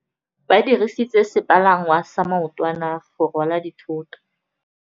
Ba dirisitse sepalangwasa maotwana go rwala dithôtô.